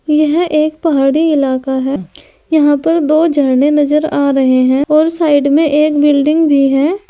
यह एक पहाड़ी इलाका है यहां पर दो झरने नजर आ रहे हैं और साइड में एक बिल्डिंग भी है।